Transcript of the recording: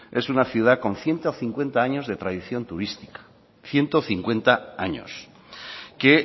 es una ciudad con ciento cincuenta años de tradición turística ciento cincuenta años que